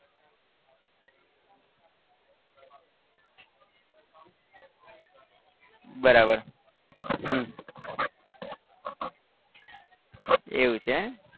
બરાબર હમ એવું છે?